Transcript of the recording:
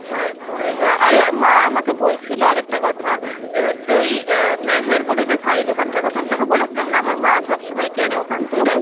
তারপর অ্যাঁ আরে মা আমাকে বলছিল আরেকটা কথা যে হচ্ছে ওই অ্যাঁ মেহের বলে যে শাড়ি দোকানটার কথা আমি তোকে বলেছিলাম না আমার মা সব সময় কেনে ওখান